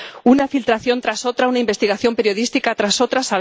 Una filtración tras otra, una investigación periodística tras otra...